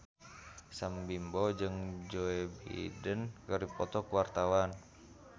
Sam Bimbo jeung Joe Biden keur dipoto ku wartawan